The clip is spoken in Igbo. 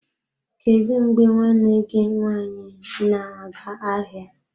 Kedu mgbe nwanne gị nwaanyị na-aga ahịa?